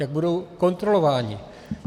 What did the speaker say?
Jak budou kontrolováni?